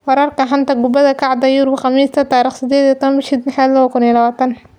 Wararka xanta kubada cagta Yurub Khamiista 18.06.2020: Messi, Ronaldo, Pedro, Fraser, Chilwell, Alaba